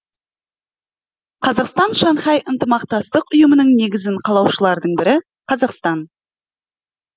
қазақстан шанхай ынтымақтастық ұйымының негізін қалаушылардың бірі қазақстан